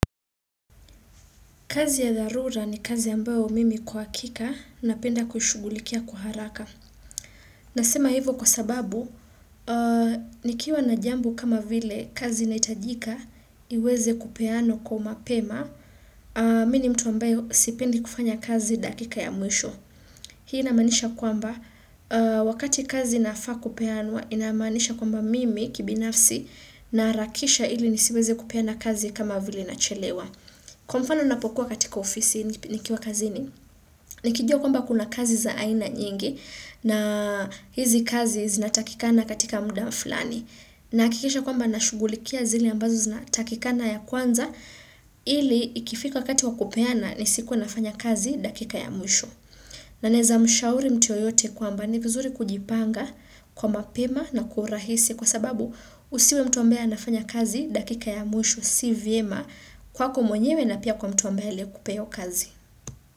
Kazi ya dharura ni kazi ambayo mimi kwa hakika napenda kushughulikia kwa haraka. Nasema hivyo kwa sababu, nikiwa na jambo kama vile kazi inahitajika, iweze kupeanwa kwa umapema, mimi mtu ambayo sipendi kufanya kazi dakika ya mwisho. Hii inamaanisha kwamba, wakati kazi nafaa kupeanwa, inamaanisha kwamba mimi kibinafsi, naharakisha ili nisiweze kupeana kazi kama vile nachelewa. Kwa mfano napokuwa katika ofisi nikiwa kazini, nikijua kwamba kuna kazi za aina nyingi na hizi kazi zinatakikana katika mda fulani. Nahakikisha kwamba nashugulikia zile ambazo zinatakikana ya kwanza ili ikifika wakati wa kupeana nisikuwe nafanya kazi dakika ya mwisho. Na naeza mshauri mtu yoyote kwamba ni vizuri kujipanga kwa mapema na kurahisi kwa sababu usiwe mtu ambaye anafanya kazi dakika ya mwisho si vyema kwako mwenyewe na pia kwa mtu ambaye aliyekupea hiyo kazi.